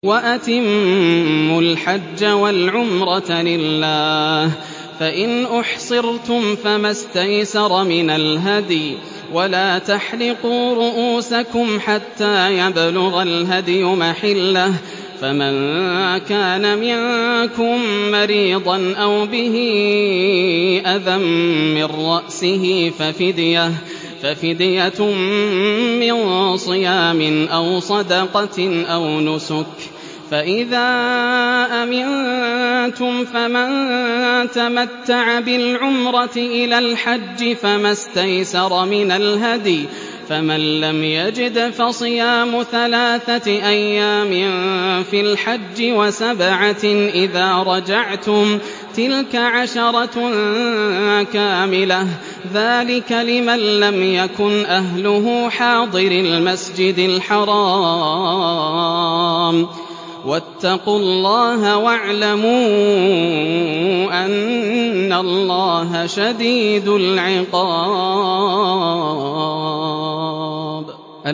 وَأَتِمُّوا الْحَجَّ وَالْعُمْرَةَ لِلَّهِ ۚ فَإِنْ أُحْصِرْتُمْ فَمَا اسْتَيْسَرَ مِنَ الْهَدْيِ ۖ وَلَا تَحْلِقُوا رُءُوسَكُمْ حَتَّىٰ يَبْلُغَ الْهَدْيُ مَحِلَّهُ ۚ فَمَن كَانَ مِنكُم مَّرِيضًا أَوْ بِهِ أَذًى مِّن رَّأْسِهِ فَفِدْيَةٌ مِّن صِيَامٍ أَوْ صَدَقَةٍ أَوْ نُسُكٍ ۚ فَإِذَا أَمِنتُمْ فَمَن تَمَتَّعَ بِالْعُمْرَةِ إِلَى الْحَجِّ فَمَا اسْتَيْسَرَ مِنَ الْهَدْيِ ۚ فَمَن لَّمْ يَجِدْ فَصِيَامُ ثَلَاثَةِ أَيَّامٍ فِي الْحَجِّ وَسَبْعَةٍ إِذَا رَجَعْتُمْ ۗ تِلْكَ عَشَرَةٌ كَامِلَةٌ ۗ ذَٰلِكَ لِمَن لَّمْ يَكُنْ أَهْلُهُ حَاضِرِي الْمَسْجِدِ الْحَرَامِ ۚ وَاتَّقُوا اللَّهَ وَاعْلَمُوا أَنَّ اللَّهَ شَدِيدُ الْعِقَابِ